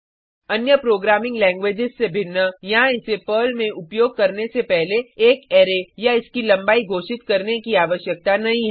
अन्य programming languages से भिन्न यहाँ इसे पर्ल में उपयोग करने से पहले एक अरै या इसकी लंबाई घोषित करने की आवश्यकता नहीं है